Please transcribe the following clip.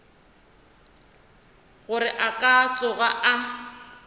gore a ka tsoga a